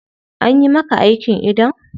Anyi maka aikin idon?